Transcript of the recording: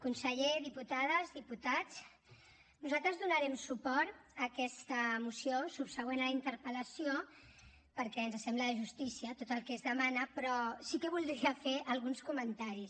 conseller diputades diputats nosaltres donarem suport a aquesta moció subsegüent a la interpel·lació perquè ens sembla de justícia tot el que es demana però sí que voldria fer alguns comentaris